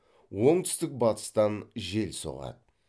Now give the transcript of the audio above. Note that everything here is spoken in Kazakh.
оңтүстік батыстан жел соғады